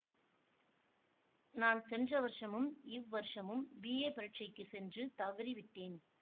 நான் சென்ற வருஷமும் இவ்வருஷமும் பிஏ பரிட்சைக்குச் சென்று தவறிவிட்டேன்